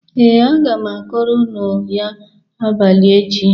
Ee, aga m akọrọ unu ya abalị echi.